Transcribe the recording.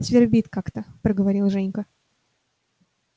свербит как-то проговорил женька